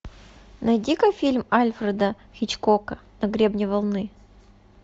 найди ка фильм альфреда хичкока на гребне волны